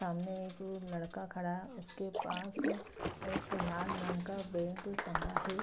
सामने एक लड़का खड़ा उसके पास एक लाल रंग का बैग टंगा है।